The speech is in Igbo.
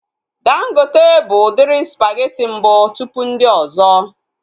Dangote bụ udiri spageti mbụ tụpụ ndị ọzọ